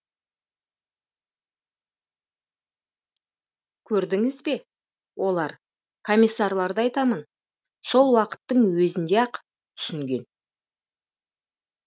көрдіңіз бе олар комиссарларды айтамын сол уақыттың өзінде ақ түсінген